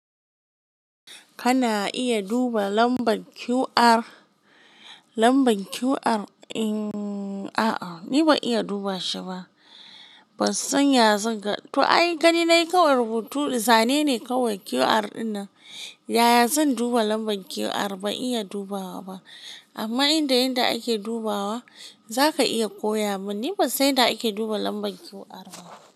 Kana iya duba lambar QR. Lambar QR, a'a ni ban iya duba shi ba. Ban san yanzu ga, to ai gani na yi kawar butu zane ne kawai QR ɗinnan. Yaya zan duba lambar QR? Ban iya dubawa ba. Amma inda yanda ake dubawa zaka iya koya mun. Ni ban san yadda ake duba lambar QR ba.